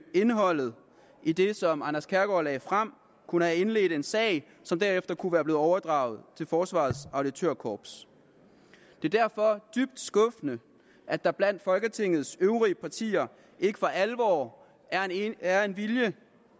indholdet i det som anders kærgaard lagde frem og kunne have indledt en sag som derefter kunne være blevet overdraget til forsvarets auditørkorps det er derfor dybt skuffende at der blandt folketingets øvrige partier ikke for alvor er en vilje til